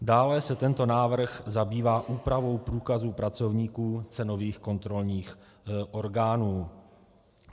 Dále se tento návrh zabývá úpravou průkazu pracovníků cenových kontrolních orgánů.